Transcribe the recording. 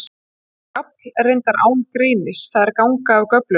Þar er gafl reyndar án greinis, það er ganga af göflum.